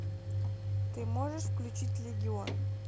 ты можешь включить легион